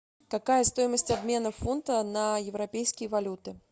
какая стоимость обмена фунта на европейские валюты